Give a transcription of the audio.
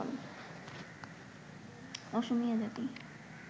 অসমীয়া জাতি